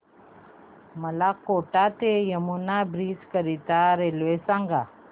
मला कोटा ते यमुना ब्रिज करीता रेल्वे सांगा